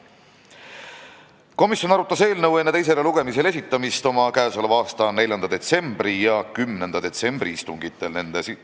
Komisjon arutas eelnõu enne teisele lugemisele esitamist oma 4. detsembri ja 10. detsembri istungil.